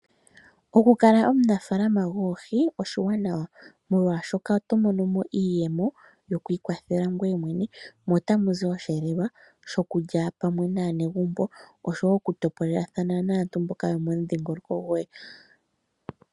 Okukala omunafaalama goohi oshiwanawa, molwashoka oto mono mo iiyemo yokwiikwathela ngoye mwene mo ota mu zi oshihelelwa shokulya pamwe naanegumbo osho wo okutopolelathana naantu mboka yomomudhingoloko goye.